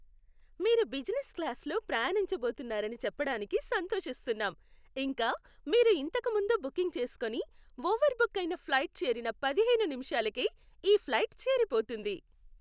మీరు బిజినెస్ క్లాస్లో ప్రయాణించబోతున్నారని చెప్పడానికి సంతోషిస్తున్నాం, ఇంకా, మీరు ఇంతకు ముందు బుకింగ్ చేసుకుని, ఓవర్బుక్ అయిన ఫ్లైట్ చేరిన పదిహేను నిమిషాలకే ఈ ఫ్లైట్ చేరిపోతుంది.